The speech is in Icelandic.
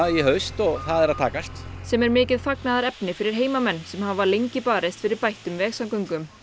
í haust og það er að takast sem er mikið fagnaðarefni fyrir heimamenn sem hafa lengi barist fyrir bættum vegsamgöngum